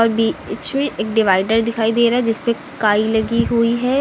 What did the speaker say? एक डिवाइडर दिखाई दे रहा है जिसपे काई लगी हुई है।